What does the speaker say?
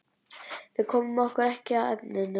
Við komum okkur ekki að efninu.